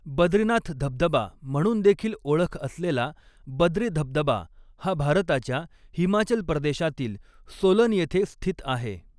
बद्रीनाथ धबधबा म्हणूनदेखील ओळख असलेला बद्री धबधबा हा भारताच्या हिमाचल प्रदेशातील सोलन येथे स्थित आहे.